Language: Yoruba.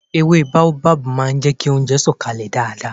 Èwe baobab máà ń jẹ kí oúnjẹ sọ̀ kalẹ̀ dáadáa